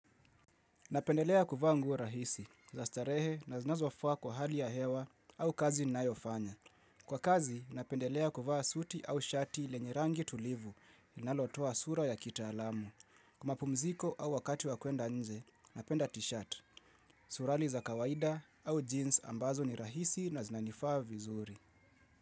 Napendelea kuvaa nguo rahisi, za starehe na zinazofaa kwa hali ya hewa au kazi ninayoifanya. Kwa kazi, napendelea kuvaa suti au shati lenye rangi tulivu linalotoa sura ya kitaalamu. Kwa mapumziko au wakati wakwenda nje, napenda t-shirt, surali za kawaida au jeans ambazo ni rahisi na zinanifaa vizuri.